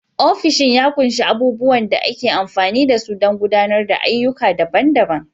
Ofishin ya ƙunshi abubuwan da ake amfani da su don gudanar da ayyuka daban-daban.